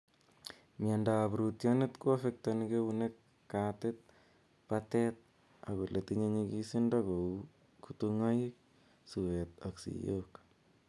Miando ap rootyonet, koaffektani keunek, katit ,patet ak ole tinye nyikisindo kou kutung'aiik , suet ak siiyok